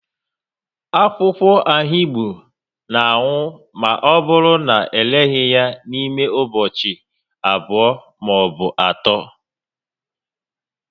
Akwụkwọ ahigbo na anwụma ọ bụrụ na ereghị ya n'ime ụbọchị abụọ ma ọ bụ atọ